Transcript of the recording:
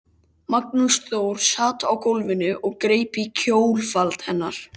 Magnús Þór sat á gólfinu og greip í kjólfald hennar